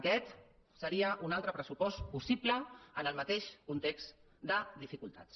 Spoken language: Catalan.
aquest seria un altre pressupost possible en el mateix context de dificultats